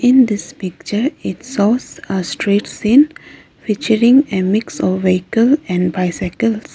in this picture it shows a street scene featuring a mix of vehicle and bicycles.